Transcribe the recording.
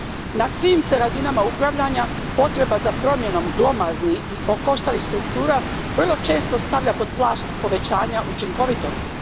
Na svim se razinama upravljanja potreba za promjenom glomaznih i okoštalih struktura vrlo često stavlja pod plašt povećanja učinkovitosti.